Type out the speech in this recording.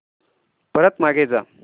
परत मागे जा